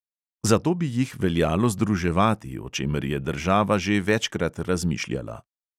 Zato bi jih veljalo združevati, o čemer je država že večkrat razmišljala.